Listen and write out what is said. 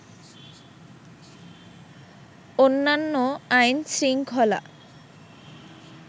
অন্যান্য আইনশৃঙ্খলা